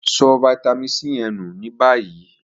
So vitamin C ye nu ni bayi.